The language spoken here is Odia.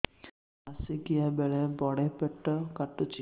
ମାସିକିଆ ବେଳେ ବଡେ ପେଟ କାଟୁଚି